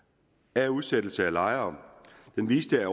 af udsættelserne af lejere den viste at